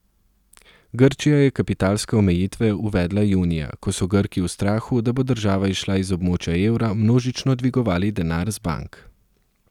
Grčija je kapitalske omejitve uvedla junija, ko so Grki v strahu, da bo država izšla iz območja evra, množično dvigovali denar z bank.